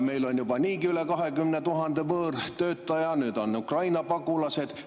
Meil on juba niigi üle 20 000 võõrtöötaja, nüüd on siin Ukraina pagulased.